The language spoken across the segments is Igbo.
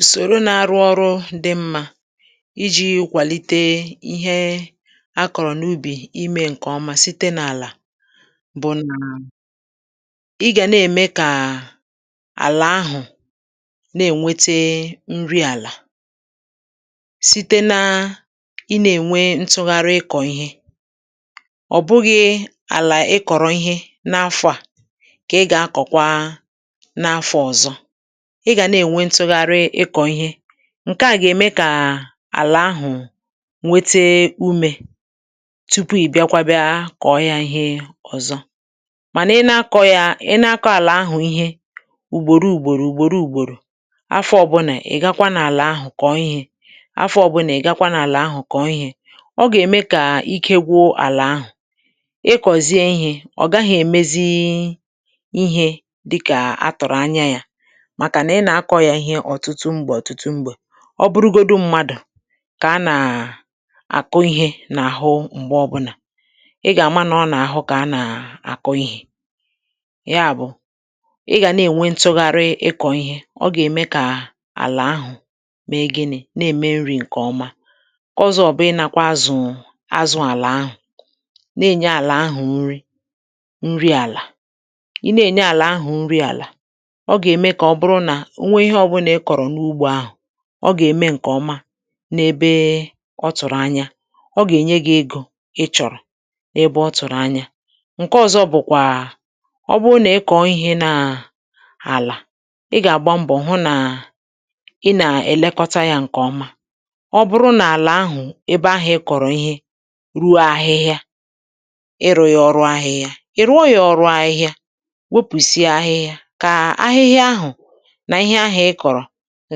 ùsòro nā -ārụ̄ ọrụ dị̄ mmā ijī kwàlite ihe a kọ̀rọ̀ n’ubì imē ṅ̀kè ọma site n’àlà bụ nà ị gà na-ème kàà àlà ahụ̀ na-ènwete nri àlà site naa ịnā-ènwe ntụgharị ịkọ̀ ihe ọ̀ bụghī̩ àlà ị kọ̀rọ̀ ihe n’afọ̄ à kà ị gà-akọ̀kwa n’afọ̄ ọ̀zọ ị gà na-ènwe ntụgharị ịkọ̀ ihe ṅ̀ke à gà-ème kàà àlà ahụ̀ nwete umē tupu ị̀ bịakwa bịa kọ̀ọ yā ihe ọ̀zọ mànà na-akọ̄ yā ị na-akọ̄ àlà ahà ihe ùgbòro ùgbòrò ùgbòro ùgbòrò afọ̄ ọbụnà ị̀ gakwa n’àlà ahụ̀ kọ̀ọ ihē afọ̄ ọbụnà ị̀ gakwa n’àlà ahụ̀ kọ̀ọ ihē ọ gà-ème kà ike gwụ àlà ahụ̀ ị kọ̀zie ihē ọ̀ gahā èmezii ihē dịkà a tụ̀rụ̀ anya yā màkà nà ị nà-akọ̄ yā ihe ọ̀tụtụ m̀gbè ọ̀tụtụ m̀gbè ọ bụrụgodu madụ̀ kà a nàà àkụ ihē n’àhụ m̀gbe ọbụnà ị gà-àma nọọ n’àhụ kà a nà-àkụ ihē ya bụ̀ ị gà na-ènwe ntụgharị ịkọ̀ ihe ọ gà-ème kàà àlà ahụ̀ mee ginị̄? na-ème nrī ṅ̀kè ọma ṅ̀ke ọzọ bụ ịnākwā azụ̀ụ̀ azụ̄ àlà ahụ̀ na-ènye àlà ahụ̀ nri nri àlà ị na-ènye àlà ahụ̀ nri àlà o gà-ème kà ọ bụrụ nà o nwee ihe obunà i kò̩rọ̀ n’ugbō ahà ọ gà-eme ṅ̀kè o̩ma n'ebee ọ tụrụ anya o gà ènye gi ego ị chọ̀rọ̀ ebe ọ tụ̀rụ̀ anya ṅ̀ke ọzọ bụ̀kwàà ọ bụrụ nà ị kọ̀ọ ihē nàà àlà ị gà-àgba mbọ̀ hụ nàà ị nà -èlekọta yā ṅ̀kè ọma ọ bụrụ nà àlà ahụ̀ ebe ahụ̀ ị kọ̀rọ̀ ihe ruo ahịhịa ịrụ̄ yā ọrụ ahịhịa ị̀ rụọ yā ọrụ ahịhịa wopùsịa ahịhịa kàà ahịhịa ahụ̀ nà ihe ahụ̀ ị kọ̀rọ̀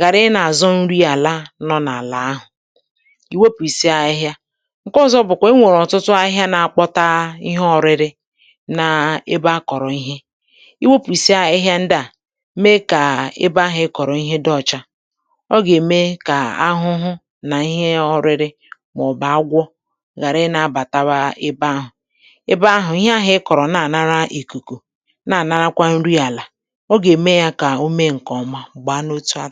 ghàra ịnā-àzọ nriàla nọ̄ n’àlà ahụ̀ ì wepùsịa ahịhịa ṅ̀ke ọzọ bùkwà o nwèrè ọ̀tụtụ ahịhịa na-akpọta ihe ọ̄rị̄rị̄ n’ebe a kọ̀rọ̀ ihe i wopùsịa ahịhịa ndị à mee kà ebe ahụ̀ ị kọ̀rọ̀ ihe dị ọcha ọ gà-ème kà ahụhụ nà ihe ọrịrị màọ̀bụ̀ agwọ ghàra ịnā-abàtawa ebe ahụ ebe ahụ̀ ihe ahụ̀ ị kọ̀rọ̀ na-ànara ìkùkù na-ànarakwa nriàlà ọ gà-ème yā kà o mee ṅ̀kè ọma gbàa n’otu a